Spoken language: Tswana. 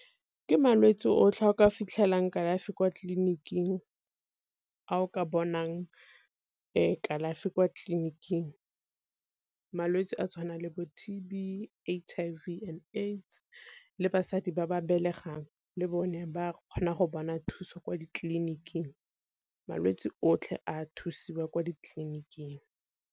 Ke malwetse otlhe a o ka fitlhelang kalafi kwa tleliniking, a o ka bonang kalafi kwa tleliniking malwetse a tshwanang le bo T_B, H_I_V and AIDS le basadi ba ba belegang le bone ba kgona go bona thuso kwa ditleliniking malwetsi otlhe a thusiwa kwa ditleliniking.